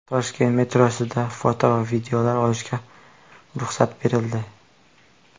Toshkent metrosida foto va videoga olishga ruxsat berildi.